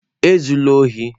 Ezula ohi!